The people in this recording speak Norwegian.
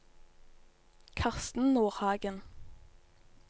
Karsten Nordhagen